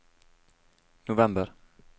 november